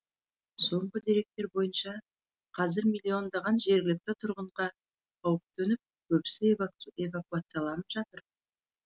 соңғы деректер бойынша қазір миллиондаған жергілікті тұрғынға қауіп төніп көбісі эвакуацияланып жатыр